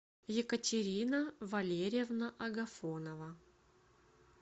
екатерина валерьевна агафонова